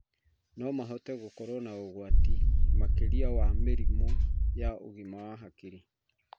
No mahote gũkorwo na ũgwati makĩria wa mĩrimũ ya ũgima wa hakiri.